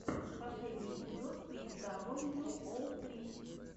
последний эпизод спиди дабл ю оу фри